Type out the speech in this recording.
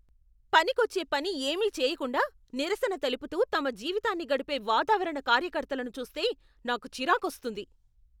పనికొచ్చే పని ఏమీ చేయకుండా నిరసన తెలుపుతూ తమ జీవితాన్ని గడిపే వాతావరణ కార్యకర్తలను చూస్తే నాకు చిరాకొస్తుంది.